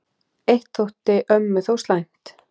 Eitt þótti ömmu þó slæmt.